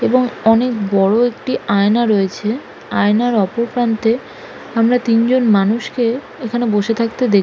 এবং অনেক বড় একটি আয়না রয়েছে। আয়নার অপর প্রান্তে আমরা তিনজন মানুষকে এখানে বসে থাকতে দেখ--